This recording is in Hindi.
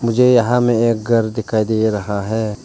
मुझे यहां में एक घर दिखाई दे रहा है।